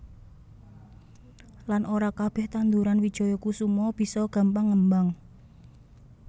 Lan ora kabeh tandhuran wijaya kusuma bisa gampang ngembang